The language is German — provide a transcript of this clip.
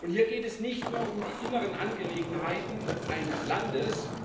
Hier geht es nicht nur um die inneren Angelegenheiten eines Landes.